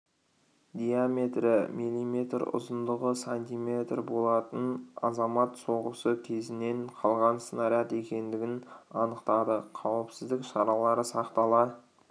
диаметрі мм ұзындығы см болатын азамат соғысы кезінен қалған снаряд екендігін анықтады қауіпсіздік шаралары сақтала